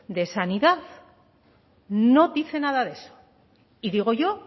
de sanidad no dice nada de eso y digo yo